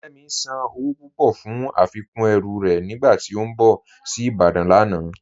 Kẹmi sán owó púpọ̀ fún afikún ẹ̀rù rẹ̀ nígbàtí ó n bọ̀ sí Ìbàdàn lánà.